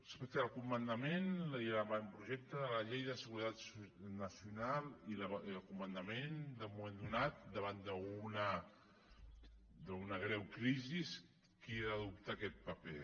respecte al comandament i l’avantprojecte de la llei de seguretat nacional i el comandament en un moment donat davant d’una greu crisi qui ha d’adoptar aquest paper